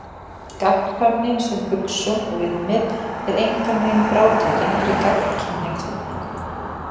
Gagnkvæmni sem hugsjón og viðmið er engan veginn frátekin fyrir gagnkynhneigt fólk.